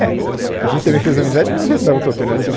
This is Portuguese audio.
É, a gente também fez amizade porque não restava outra alternativa.